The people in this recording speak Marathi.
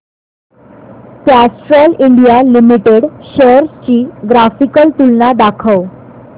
कॅस्ट्रॉल इंडिया लिमिटेड शेअर्स ची ग्राफिकल तुलना दाखव